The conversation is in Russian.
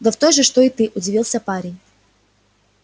да в той же что и ты удивился парень